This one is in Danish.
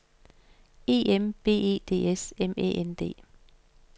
E M B E D S M Æ N D